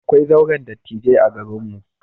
Akwai zauren dattijai a garinmu.